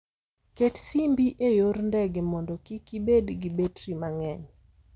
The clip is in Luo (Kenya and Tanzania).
Ket simbi e yor ndege mondo kik ibed gi betri mang'eny.